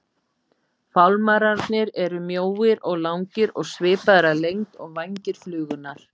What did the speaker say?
Fálmararnir eru mjóir og langir og svipaðir að lengd og vængir flugunnar.